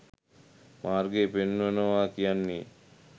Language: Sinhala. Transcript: මාර්ගය පෙන්වනවා කියන්නේ.